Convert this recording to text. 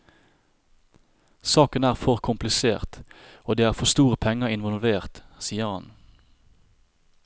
Saken er for komplisert, og det er for store penger involvert, sier han.